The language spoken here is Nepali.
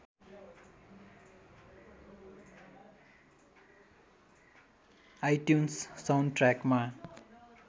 आइट्युन्स साउन्डट्र्याकमा